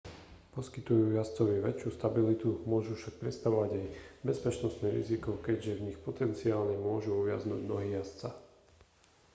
poskytujú jazdcovi väčšiu stabilitu môžu však predstavovať aj bezpečnostné riziko keďže v nich potenciálne môžu uviaznuť nohy jazdca